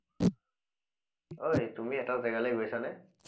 অই তুমি এটা যেগালে গৈছা নে